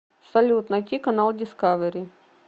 салют найти канал дискавери